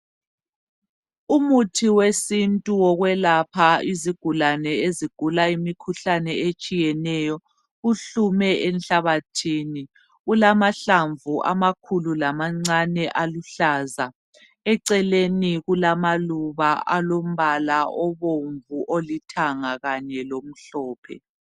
Umuthi wesintu wokwelapha izigulane ezigula imikhuhlane etshiyeneyo uhlume enhlabathini ulamahlamvu amakhulu lamancane aluhlaza eceleni kulamaluba alombala obomvu, olithanga kanye lomhlophe.